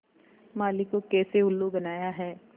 माली को कैसे उल्लू बनाया है